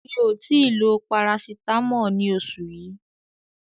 Mi ò tí ì lo Parasitamọ́ọ̀ ní oṣù yí.